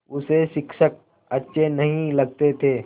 उसे शिक्षक अच्छे नहीं लगते थे